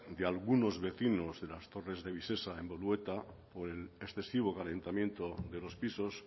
de algunos vecinos de las torres de vivesa en bolueta por el excesivo calentamiento de los pisos